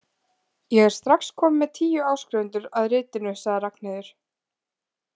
Ég er strax komin með tíu áskrifendur að ritinu, sagði Ragnheiður.